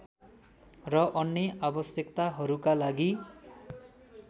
र अन्य आवश्यकताहरूका लागि